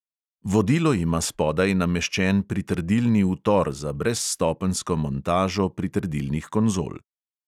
Vodilo ima spodaj nameščen pritrdilni utor za brezstopenjsko montažo pritrdilnih konzol.